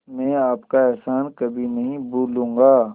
मैं आपका एहसान कभी नहीं भूलूंगा